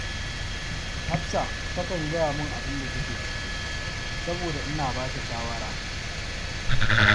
Hafsa takan gaya min abun da take ciki, saboda ina ba ta shawara